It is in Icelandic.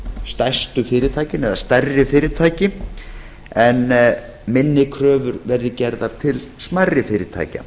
stærstu fyrirtækin eða stærri fyrirtæki en minni kröfur verði gerðar til smærri fyrirtækja